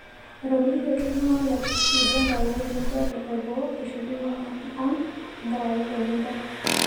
Etomitiokoki iltungana le Uganda otii nkuapi e boo eshukunye ang' tenkaraki olmeitai.